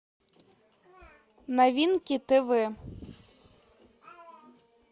новинки тв